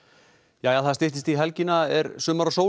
jæja það styttist í helgina er sumar og sól